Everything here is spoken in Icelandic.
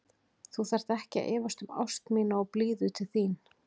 Þú þarft ekki að efast um ást mína og blíðu til þín.